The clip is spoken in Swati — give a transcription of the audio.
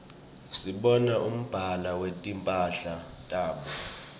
sibona umbala wetimphala tabo